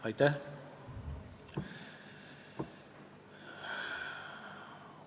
Aitäh!